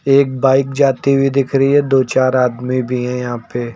एक बाइक जाती हुई दिख रही है दो चार आदमी भी हैं यहाँ पे।